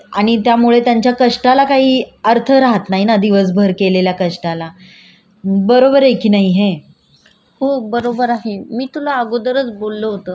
हो बरोबर आहे मी तुला अगोदरच बोललो होतो म्हणजे स्त्रिया जे काम करतात त्यांना श्रम मध्ये कन्सिडर केलं जात नाही म्हणजे ती त्यांच्या पद्धतीने खूप चांगलं काम करतात